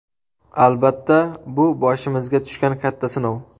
Albatta, bu boshimizga tushgan katta sinov.